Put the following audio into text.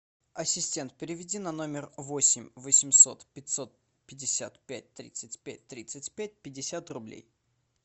ассистент переведи на номер восемь восемьсот пятьсот пятьдесят пять тридцать пять тридцать пять пятьдесят рублей